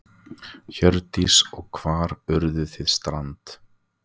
Hjördís: Og hvar urðuð þið strand?